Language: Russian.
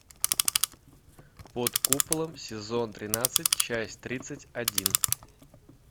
под куполом сезон тринадцать часть тридцать один